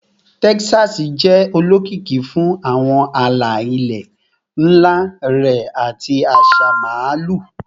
Texas jẹ olokiki fun awọn ala-ilẹ nla rẹ ati aṣa Maalu